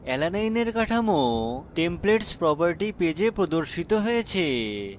alanine এর কাঠামো templates property পেজে প্রদর্শিত হয়েছে